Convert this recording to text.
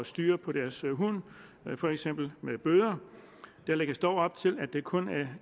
styr på deres hund for eksempel med bøder der lægges dog op til at det kun